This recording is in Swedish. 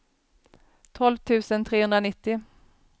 tolv tusen trehundranittio